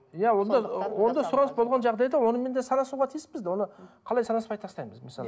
иә онда онда сұраныс болған жағдайда онымен де санасуға тиіспіз де оны қалай санаспай тастаймыз мысалы